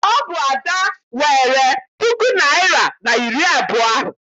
Ọ bụ Ada weere puku naịra na iri abụọ ahụ.